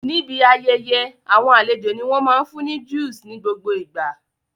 Níbi ayẹyẹ àwọn àlejò ní wọ́n máa fún ní juice nigbogbo ìgbà